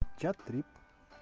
чат трип